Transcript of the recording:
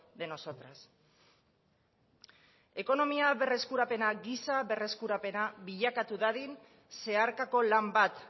de nosotras ekonomia berreskurapena giza berreskurapena bilakatu dadin zeharkako lan bat